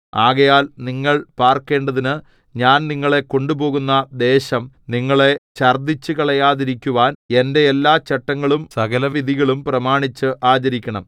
ആകയാൽ നിങ്ങൾ പാർക്കേണ്ടതിന് ഞാൻ നിങ്ങളെ കൊണ്ടുപോകുന്ന ദേശം നിങ്ങളെ ഛർദ്ദിച്ചുകളയാതിരിക്കുവാൻ എന്റെ എല്ലാ ചട്ടങ്ങളും സകലവിധികളും പ്രമാണിച്ച് ആചരിക്കണം